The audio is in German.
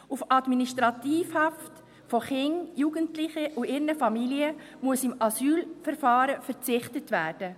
Auf Administrativhaft von Kindern, Jugendlichen und ihren Familien muss im Asylverfahren verzichtet werden.